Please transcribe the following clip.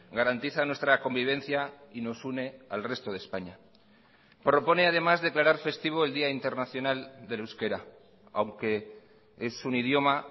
garantiza nuestra convivencia y nos une al resto de españa propone además declarar festivo el día internacional del euskera aunque es un idioma